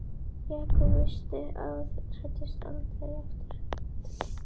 Jakob vissi að hún hæddist aldrei að honum nema þegar eitthvað var að.